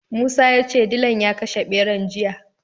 Musa ya ce dilan ya kashe ɓeran jiya.